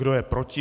Kdo je proti?